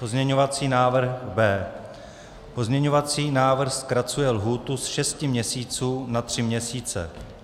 Pozměňovací návrh B. Pozměňovací návrh zkracuje lhůtu z šesti měsíců za tři měsíce.